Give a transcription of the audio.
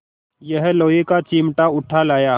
यह लोहे का चिमटा उठा लाया